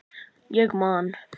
Ég man.